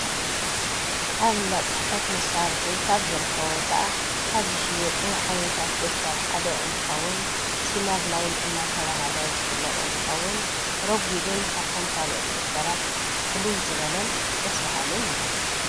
ኣብ እንዳ ጽሕፈት መሳርሒ ካብ ዝርከቡ ወይከዓ ካብ ዝሽየጡ ዓይነታ ደፍተር ሓደ እንትከዉን ሲነርላይይን እናተብሃለ ዝፍለጥ እንትከዉን ረጉድን ካብቶም ካልኦት ደፍተራት ፍልይ ዝበለን ደስ በሃልን እዩ።